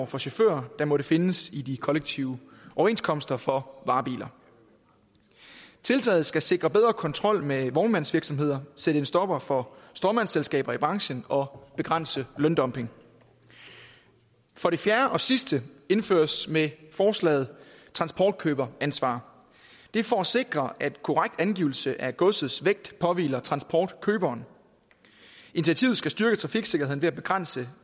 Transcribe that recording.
for chauffører der måtte findes i de kollektive overenskomster for varebiler tiltaget skal sikre bedre kontrol med vognmandsvirksomheder sætte en stopper for stråmandsselskaber i branchen og begrænse løndumping for det fjerde og sidste indføres med forslaget transportkøberansvar det er for at sikre at korrekt angivelse af godsets vægt påhviler transportkøberen initiativet skal styrke trafiksikkerheden ved at begrænse